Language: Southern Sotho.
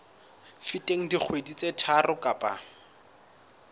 feteng dikgwedi tse tharo kapa